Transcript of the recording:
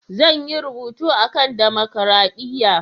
Zan yi rubutu a kan damakaraɗiya.